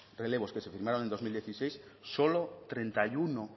relevos que se firmaron en dos mil dieciséis solo treinta y uno